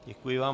Děkuji vám.